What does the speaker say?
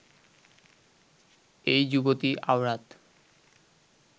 এই যুবতী আওরাত